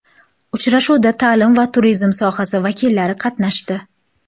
Uchrashuvda ta’lim va turizm sohasi vakillari qatnashdi.